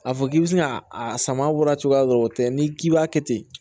A fɔ k'i bɛ se ka a sama bɔra cogoya dɔ la o tɛ n'i k'i b'a kɛ ten